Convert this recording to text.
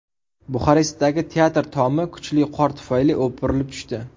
Buxarestdagi teatr tomi kuchli qor tufayli o‘pirilib tushdi.